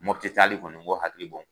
Mɔpiti taali kɔni n k'o hakili bɔ n